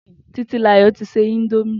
Titilayo ti sè indómì